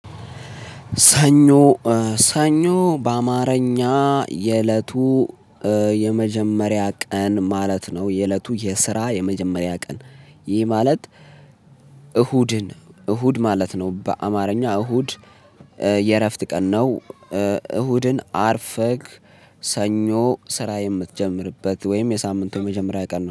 ሰኞ ሰኞ በአማርኛ የእለቱ የመጀመሪያ ቀን ማለት ነው። የእለቱ የስራ የመጀመሪያ ቀን። ይህ ማለት እሁድን እሁድ ማለት ነው። በአማርኛ እሁድ የእረፍት ቀን ነው። እሁድን አርፈግ ሰኞ ስራ የምትጀምርበት ወይም የሳምንቱ የመጀመሪያ ቀን ነው